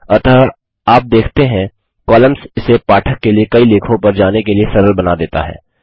अतः आप देखते हैं कॉलम्स इसे पाठक के लिए कई लेखों पर जाने के लिए सरल बना देता है